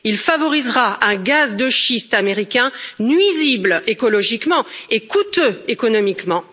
Il favorisera un gaz de schiste américain nuisible écologiquement et coûteux économiquement.